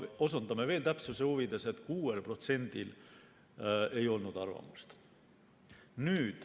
Osutan veel täpsuse huvides, et 6%‑l ei olnud arvamust.